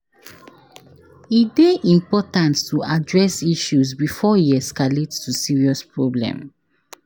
E dey important to address issues before e escalate to serious problem.